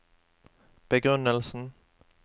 begrunnelsen